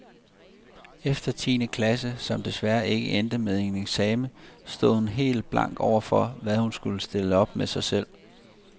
Efter tiende klasse, som desværre ikke endte med en eksamen, stod hun helt blank overfor, hvad hun skulle stille op med sig selv.